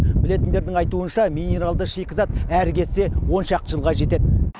білетіндердің айтуынша минералды шикізат әрі кетсе он шақты жылға жетеді